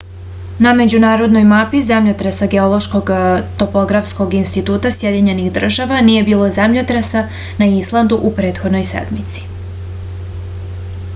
na međunarodnoj mapi zemljotresa geološkog topografskog instituta sjedinjenih država nije bilo zemljotresa na islandu u prethodnoj sedmici